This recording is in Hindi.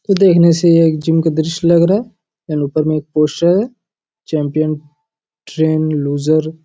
देखने से ये एक जिम का दृश्य लग रहा है ऊपर में एक पोस्टर चैंपियन ट्रेनेड लूज़र --